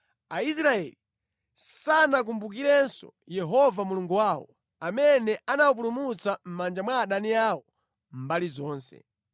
Aisraeli sanakumbukirenso Yehova Mulungu wawo amene anawapulumutsa mʼmanja mwa adani awo mbali zonse.